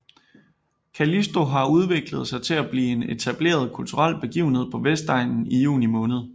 Callisto har udviklet sig til at blive en etableret kulturel begivenhed på Vestegnen i juni måned